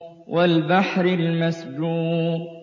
وَالْبَحْرِ الْمَسْجُورِ